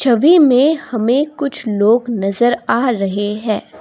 में हमे कुछ लोग नजर आ रहे है।